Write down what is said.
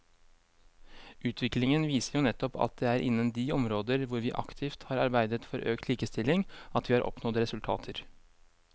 Utviklingen viser jo nettopp at det er innen de områder hvor vi aktivt har arbeidet for økt likestilling at vi har oppnådd resultater.